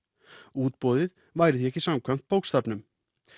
útboðið væri því ekki samkvæmt bókstafnum